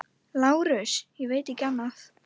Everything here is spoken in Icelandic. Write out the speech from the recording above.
LÁRUS: Ég veit ekki annað.